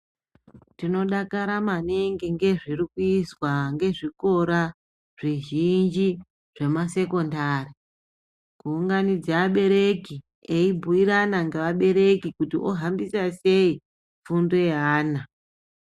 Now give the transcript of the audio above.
Tinodakara maningi ngezviri kuizwa ngezvikora zvizhinji zvema sekondari. Kuunganidze vabereki eyibhuyirana ngeabereki kuti ohafambisa sei fundo yeana.